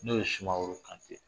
N'o ye sumaworo kante